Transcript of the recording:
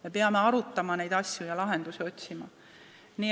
Me peame neid asju arutama ja lahendusi otsima.